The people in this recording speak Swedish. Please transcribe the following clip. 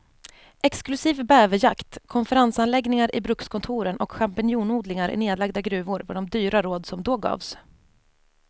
Exklusiv bäverjakt, konferensanläggningar i brukskontoren och champinjonodlingar i nedlagda gruvor var de dyra råd som då gavs.